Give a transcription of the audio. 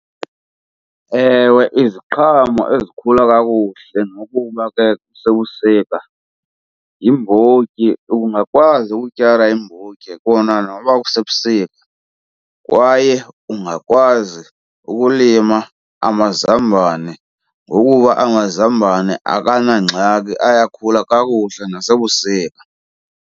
Ewe, iziqhamo ezikhula kakuhle nokuba ke kusebusika yimbotyi. Ungakwazi ukutyala iimbotyi kona noba kusebusika kwaye ungakwazi ukulima amazambane ngokuba amazambane akanangxaki ayakhula kakuhle nasebusika.